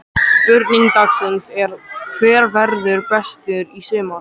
Spurning dagsins er: Hver verður bestur í sumar?